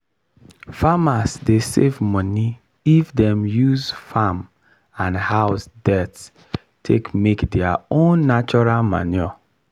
farmers dey save money if dem use farm and house dirt take make their own natural manure.